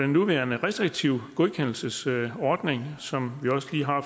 nuværende restriktive godkendelsesordning som vi også lige har